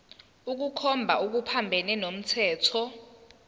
ukukhomba okuphambene nomthetho